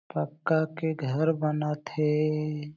पक्का के घर बनत हे।